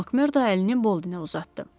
Makmerdo əlini Boldenə uzatdı.